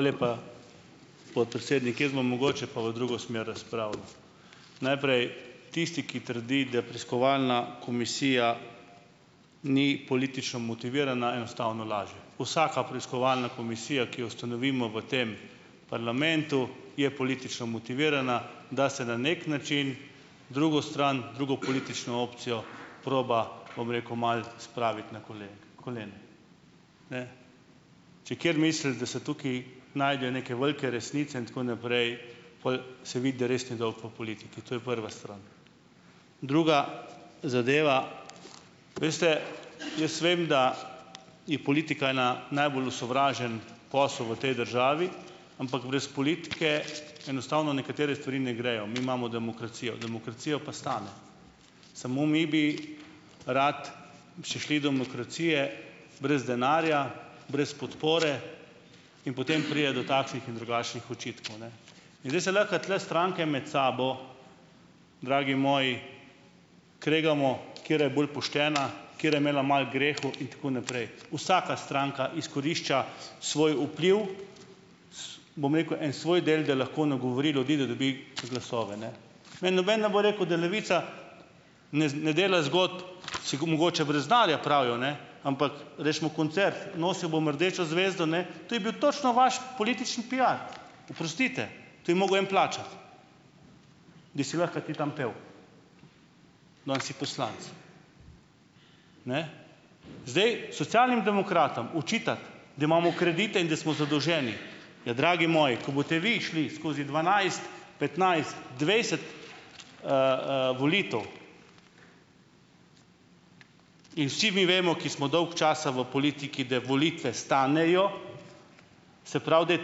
lepa, podpredsednik. Jaz bom mogoče pa v drugo smer razpravljal. Najprej tisti, ki trdi, da preiskovalna komisija ni politično motivirana, enostavno laže. Vsaka preiskovalna komisija, ki jo ustanovimo v tem parlamentu, je politično motivirana, da se na neki način drugo stran, drugo politično opcijo proba, bom rekel, malo spraviti na kolena. Če kateri misli, da se tukaj najdejo neke velike resnice in tako naprej, pol se vidi, da res ni dolgo v politiki. To je prva stran. Druga zadeva. Veste, jaz vem, da je politika ena najbolj osovražen posel v tej državi. Ampak brez politike enostavno nekatere stvari ne grejo. Mi imamo demokracijo. Demokracijo pa stane. Samo mi bi radi še šli demokracije brez denarja, brez podpore. In potem pride do takšnih in drugačnih očitkov, ne. In zdaj se lahko tule stranke med sabo, dragi moji, kregamo, katera je bolj poštena, katera je imela malo grehov, in tako naprej. Vsaka stranka izkorišča svoj vpliv, bom rekel, en svoj del, da lahko nagovori ljudi, da dobi glasove ne . Meni noben ne bo rekel, da Levica ne ne dela zgodb, mogoče brez denarja pravijo, ne, ampak recimo, koncert Nosil bom rdečo zvezdo, ne, to je bil točno vaš politični piar, oprostite, to je mogel en plačati, da si lahko ti tam pel. Danes si poslanec. Zdaj, Socialnim demokratom očitati, da imamo kredite in da smo zadolženi, ja, dragi moji, ko boste vi šli skozi dvanajst, petnajst, dvajset, volitev in vsi vi vemo, ki smo dolgo časa v politiki, da volitve stanejo, se pravi, da je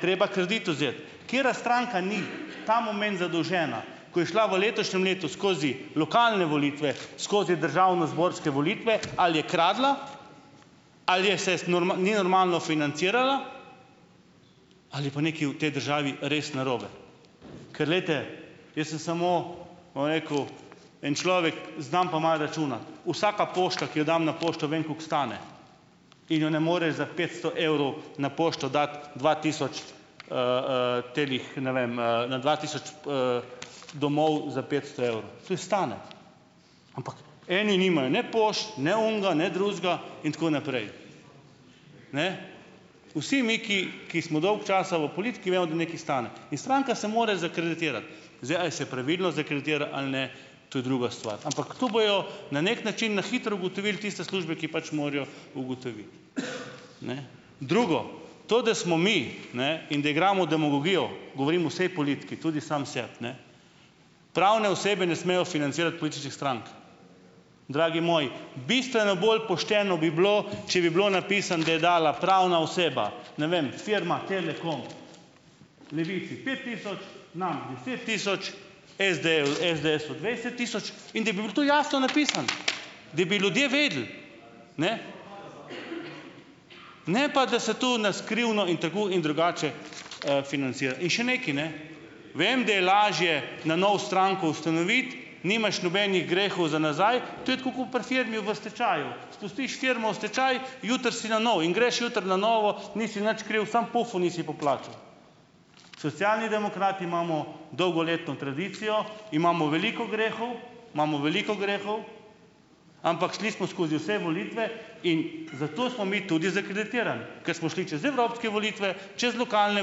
treba kredit vzeti. Katera stranka ni ta moment zadolžena , ko je šla v letošnjem letu skozi lokalne volitve, skozi državnozborske volitve, ali je kradla ali je ses ni normalno financirala ali je pa nekaj v tej državi res narobe, ker glejte, jaz sem samo, bom rekel, en človek, znam pa malo računati. Vsaka pošta, ki jo dam na pošto, vem, koliko stane, in jo ne moreš za petsto evrov na pošto dati dva tisoč, teh ne vem, na dva tisoč, domov za petsto evrov. Tu je stane. Ampak eni nimajo ne pošt ne onega ne drugega, in tako naprej. Ne, vsi mi, ki ki smo dolgo časa v politiki, vemo, da nekaj stane. In stranka se more zakreditirati. Zdaj, a je se pravilno zakreditira ali ne, to je druga stvar, ampak to bojo na neki način na hitro ugotovile tiste službe, ki pač morajo ugotoviti. Drugo. To, da smo mi, ne, in da igramo demagogijo, govorim vsej politiki, tudi sam sebi, ne, pravne osebe ne smejo financirati političnih strank. Dragi moji, bistveno bolj pošteno bi bilo, če bi bilo napisano, da je dala pravna oseba, ne vem, firma Telekom Levici pet tisoč, nam deset tisoč, SD-ju, SDS-u dvajset tisoč, in da bi bilo to jasno napisano, da bi ljudje vedeli . Ne. Ne pa, da se tu na skrivno in tako in drugače, In še nekaj, ne, vem, da je lažje na novo stranko ustanoviti, nimaš nobenih grehov za nazaj, to je tako kot pri firmi v stečaju, pustiš firmo v stečaj, jutri si na novo in greš jutri na novo, nisi nič kriv, samo pufov nisi poplačal. Socialni demokrati imamo dolgoletno tradicijo, imamo veliko grehov, imamo veliko grehov, ampak šli smo skozi vse volitve in zato smo mi tudi zakreditirani, ker smo šli čez evropske volitve čez lokalne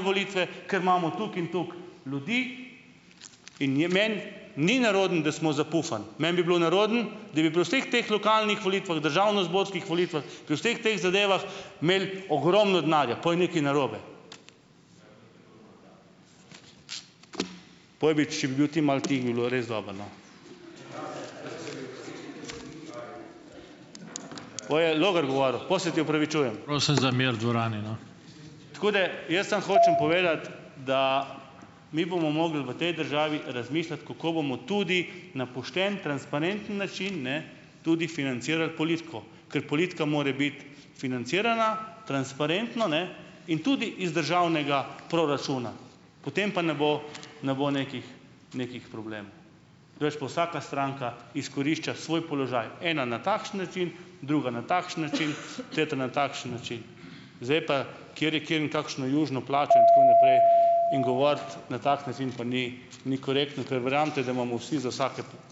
volitve, ker imamo toliko in toliko ljudi in je meni ni nerodno, da smo zapufani. Meni bi bilo nerodno, da bi pri vseh teh lokalnih volitvah, državnozborskih volitvah, pri vseh teh zadevah imeli ogromno denarja. Pol je nekaj narobe. Pojbič, če bi bil ti malo tiho, bi bilo res dobro, no. Pol je Logar govoril. Pol se ti opravičujem. Tako da jaz samo hočem povedati, da mi bomo mogli v tej državi razmišljati, kako bomo tudi na pošten, transparenten način, ne, tudi financirali politiko, ker politika more biti financirana transparentno, ne, in tudi iz državnega proračuna, potem pa ne bo ne bo nekih nekih problemov. Drugače pa vsaka stranka izkorišča svoj položaj. Ena na takšen način druga na takšen način, tretja na takšen način. Zdaj pa, kjer je kje in kakšno južino plačal, in tako naprej, in govoriti na tak način, pa ni ni korektno, ker verjemite, da imamo vsi za ...